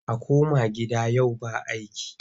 A koma gida yau ba aiki!